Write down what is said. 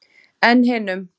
En hinum?